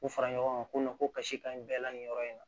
U fara ɲɔgɔn kan ko ko kasi ka ɲi bɛɛ la nin yɔrɔ in na